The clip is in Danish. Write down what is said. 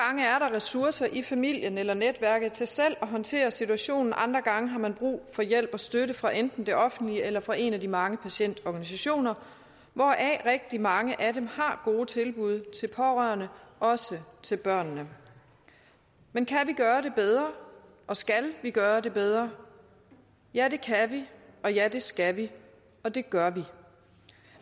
ressourcer i familien eller netværket til selv at håndtere situationen andre gange har man brug for hjælp og støtte fra enten det offentlige eller fra en af de mange patientorganisationer hvoraf rigtig mange har gode tilbud til pårørende og også til børnene men kan vi gøre det bedre og skal vi gøre det bedre ja det kan vi og ja det skal vi og det gør vi